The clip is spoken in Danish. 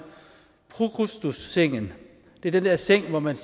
prokrustessengen det er den der seng hvor man